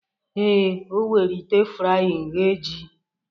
Ee, o were ite frying ghee ji